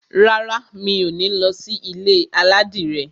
Rárá, mi ò ní lọ sí ilé aládìrẹ.